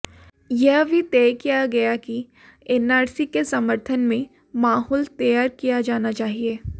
यह भी तय किया गया कि एनआरसी के समर्थन में माहौल तैयार किया जाना चाहिए